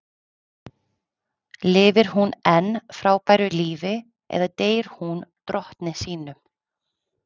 Lifir hún enn frábæru lífi eða deyr hún drottni sínum?